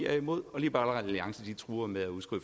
er imod og liberal alliance truer med